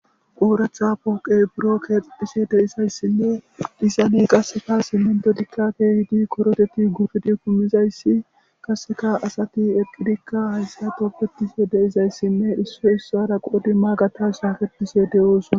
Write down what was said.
Ooratha pooqey buro keexedhise de isayssinne disane qasefa simmento dikka tehidi koroteti gufidi kumizayssi kaseka asati eqqidikka haysato pettise deizayssinne issoy issara qodi maagata shaaketise de'oosona